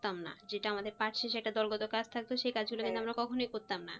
করতাম না যে আমরা পাচ্ছি আমাদের কাজ থাকতো সেই কাজগুলো কিন্তু আমরা কখনোই করতাম না